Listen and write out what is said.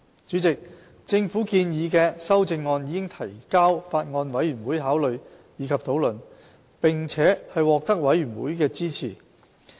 主席，政府建議的修正案已提交法案委員會考慮及討論，並獲得法案委員會支持。